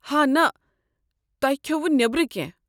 ہا نہَ، تۄہہ کھیوٚوٕ نیٔبرٕ کٮ۪نٛہہ؟